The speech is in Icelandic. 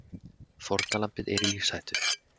Fórnarlambið er í lífshættu